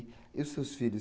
E os seus filhos?